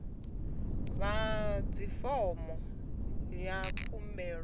a vha ḓadzi fomo ya khumbelo